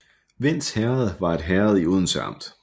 Vends Herred var et herred i Odense Amt